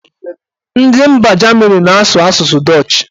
Ndị mba Jamini na-asụ asụsụ dọch